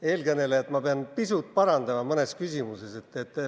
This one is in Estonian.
Eelkõnelejat ma pean pisut parandama mõnes küsimuses.